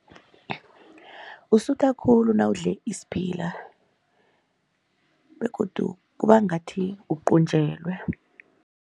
Usutha khulu nawudle isiphila begodu kuba ngathi uqunjelwe.